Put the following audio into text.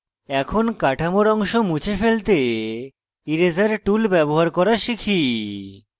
এখন কাঠামোর অংশ মুছে ফেলতে eraser tool ব্যবহার করা শিখি